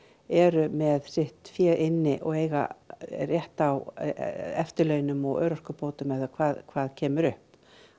eru með sitt fé inni og eiga rétt á eftirlaunum og örorkubótum eða hvað hvað kemur upp